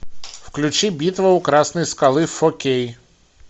включи битва у красной скалы фо кей